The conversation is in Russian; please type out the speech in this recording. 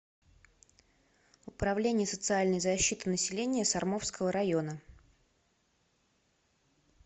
управление социальной защиты населения сормовского района